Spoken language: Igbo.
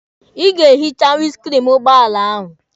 Ị ga-ehicha winiskriini ụgbọala ahụ.